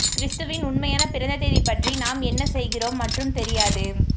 கிறிஸ்துவின் உண்மையான பிறந்த தேதி பற்றி நாம் என்ன செய்கிறோம் மற்றும் தெரியாது